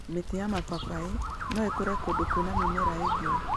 Mĩtĩ ya mababaĩ no ĩkure kũndũ kwĩna mĩmera ĩngĩ.